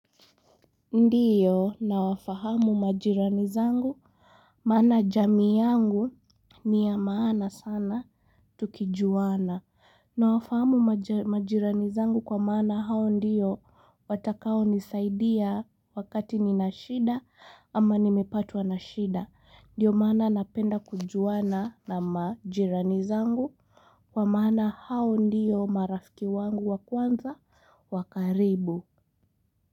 Ndiyo na wafahamu majirani zangu maana jami yangu niya maana sana tukijuana na wafahamu majirani zangu kwa maana hao ndiyo watakao nisaidia wakati nina shida ama nimepatuwa na shida ndiyo maana napenda kujuana na majirani zangu kwa maana hao ndiyo marafiki wangu wakwanza wakaribu.